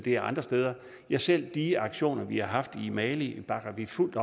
er andre steder ja selv de aktioner vi har haft i mali bakker vi fuldt